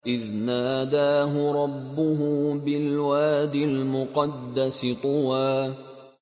إِذْ نَادَاهُ رَبُّهُ بِالْوَادِ الْمُقَدَّسِ طُوًى